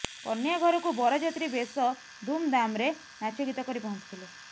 କନ୍ୟା ଘରକୁ ବରଯାତ୍ରୀ ବେଶ ଧୁମଧାମରେ ନାଚଗୀତ କରି ପହଞ୍ଚିଥିଲେ